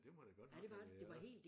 Ja det må det godt nok have været